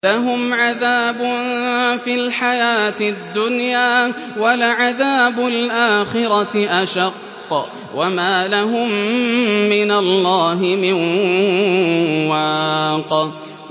لَّهُمْ عَذَابٌ فِي الْحَيَاةِ الدُّنْيَا ۖ وَلَعَذَابُ الْآخِرَةِ أَشَقُّ ۖ وَمَا لَهُم مِّنَ اللَّهِ مِن وَاقٍ